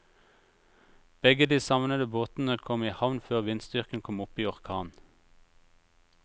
Begge de savnede båtene kom i havn før vindstyrken kom opp i orkan.